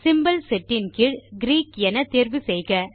symbol set இன் கீழ் Greek என தேர்வு செய்க